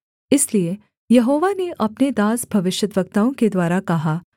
इसलिए यहोवा ने अपने दास भविष्यद्वक्ताओं के द्वारा कहा